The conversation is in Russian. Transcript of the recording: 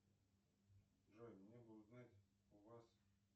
джой мне бы узнать у вас